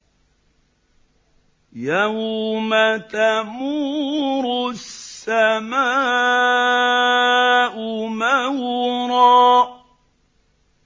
يَوْمَ تَمُورُ السَّمَاءُ مَوْرًا